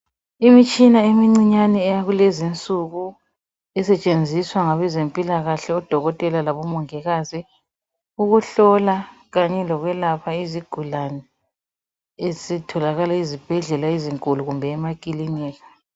Imitshina emincane eyakulezinsuku esetshenziswa ngabezempilakahle odokotela labomongikazi ukuhlola Kanye lokwelapha izigulane ezitholakala ezibhendlela ezinkulu kumbe emakilinika.